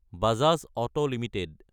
Bajaj Auto Ltd